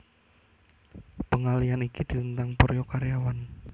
Pengalihan iki ditentang para karyawan